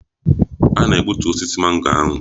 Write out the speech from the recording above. A na-egbutu osisi mango ahụ.